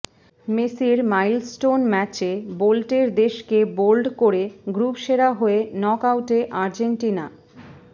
মেসির মাইলস্টোন ম্যাচে বোল্টের দেশকে বোল্ড করে গ্রুপ সেরা হয়ে নক আউটে আর্জেন্টিনা